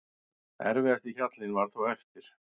Erfiðasti hjallinn var þó eftir.